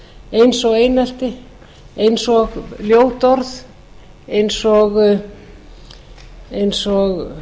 eins og einelti eins og ljót orð eins og